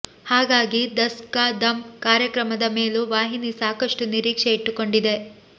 ಹಾಗಾಗಿ ದಸ್ ಕಾ ದಮ್ ಕಾರ್ಯಕ್ರಮದ ಮೇಲೂ ವಾಹಿನಿ ಸಾಕಷ್ಟು ನಿರೀಕ್ಷೆ ಇಟ್ಟುಕೊಂಡಿದೆ